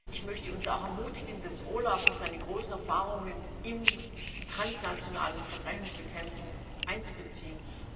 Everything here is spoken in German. Ich möchte uns auch ermutigen, das OLAF und seine großen Erfahrungen in der transnationalen Verbrechensbekämpfung einzubeziehen.